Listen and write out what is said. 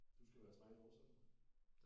Du skal være træner også eller hvad?